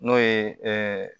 N'o ye